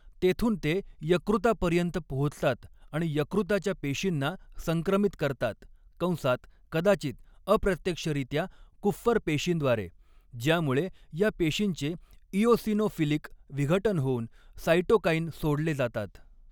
तेथून ते यकृतापर्यंत पोहोचतात आणि यकृताच्या पेशींना संक्रमित करतात कंसात कदाचित अप्रत्यक्षरीत्या कुप्फर पेशींद्वारे, ज्यामुळे या पेशींचे इओसिनोफिलिक विघटन होऊन साइटोकाईन सोडले जातात.